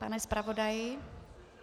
Pane zpravodaji.